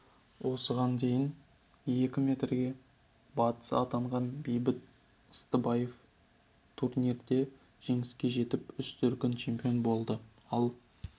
осыған дейін екі мәрте барыс атанған бейбіт ыстыбаев турнирде жеңіске жетіп үш дүркін чемпион болды ал